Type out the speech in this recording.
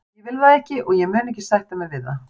Ég vil það ekki og ég mun ekki sætta mig við það.